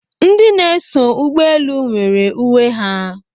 Ndị na-eso ụgbọelu nwere uwe ha